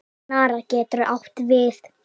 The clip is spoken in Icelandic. Snara getur átt við